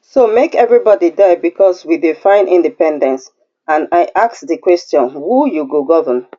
so make everybody die bicos we dey find independence and i ask di question who you go govern